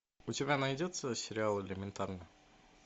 у тебя найдется сериал элементарно